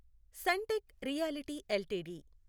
Suntech realty LTD